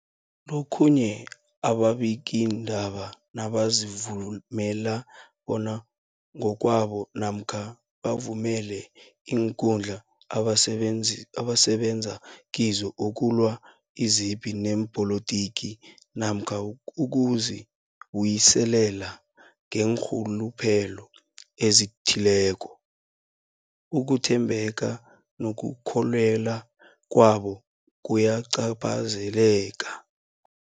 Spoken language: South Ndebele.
Lokhuya ababikiindaba nabazivumela bona ngokwabo namkha bavumele iinkundla abasebenza kizo ukulwa izipi zepolitiki namkha ukuzi buyiselela ngeenrhuluphelo ezithileko, ukuthembeka nokukholweka kwabo kuyacaphazeleka.